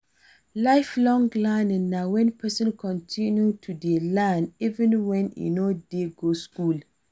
Life long learning na when person continue to dey learn even when e no dey go school